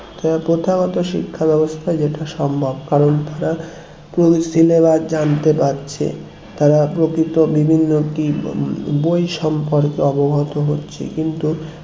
প্রথাগত শিক্ষা ব্যবস্থায় যেটা সম্ভব কারণ তারা পুরো syllabus জানতে পারছে তারা প্রকৃত বিভিন্ন কি বই সম্পর্কে অবগত হচ্ছে কিন্তু